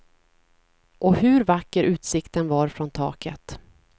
Och hur vacker utsikten var från taket.